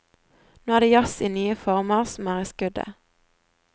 Nå er det jazz i nye former som er i skuddet.